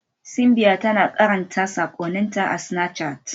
Simbiat tana karanta sakonninta a Snapchat.